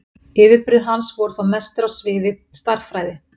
yfirburðir hans voru þó mestir á sviði stærðfræði